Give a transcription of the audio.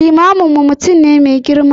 Limaminmu mutum ne mai girma.